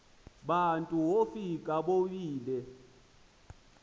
bantu wofika bobile